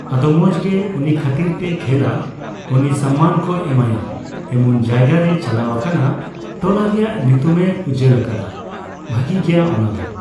ᱟᱫᱚ ᱢᱚᱸᱡᱽ ᱜᱮ᱾ ᱩᱱᱤ ᱠᱷᱟᱹᱛᱤᱨ ᱛᱮᱭ ᱠᱷᱮᱞᱟ ᱩᱱᱤ ᱥᱚᱱᱢᱟᱱ ᱠᱚ ᱮᱢᱟᱭᱟ᱾ ᱮᱢᱚᱱ ᱡᱟᱭᱜᱟᱨᱮᱭ ᱪᱟᱞᱟᱣ ᱟᱠᱟᱱᱟ, ᱴᱚᱞᱟ ᱨᱮᱭᱟᱜ ᱧᱩᱛᱩᱢᱮᱭ ᱩᱡᱡᱚᱞ ᱟᱠᱟᱫᱟ᱾ ᱵᱷᱟᱹᱜᱤ ᱜᱮᱭᱟ ᱚᱱᱟ ᱫᱚ᱾